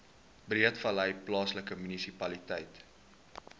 breedevallei plaaslike munisipaliteit